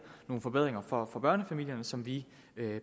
nogle forbedringer for for børnefamilierne som vi